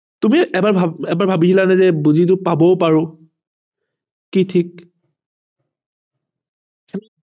তুমি এবাৰ এবাৰ ভাবিছিলা নে যে degree টো পাবও পাৰো কি ঠিক